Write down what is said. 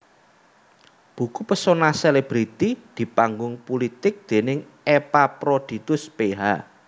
Buku Pesona Selebriti di Panggung Pulitik déning Epaphroditus Ph